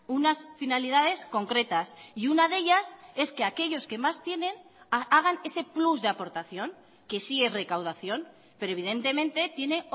unas finalidades concretas y una de ellas es que aquellos que más tienen hagan ese plus de aportación que sí es recaudación pero evidentemente tiene